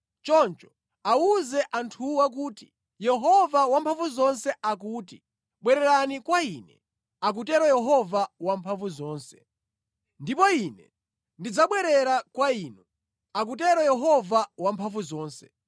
Choncho awuze anthuwa kuti, ‘Yehova Wamphamvuzonse akuti, ‘Bwererani kwa Ine,’ akutero Yehova Wamphamvuzonse. ‘Ndipo Ine ndidzabwerera kwa inu,’ akutero Yehova Wamphamvuzonse.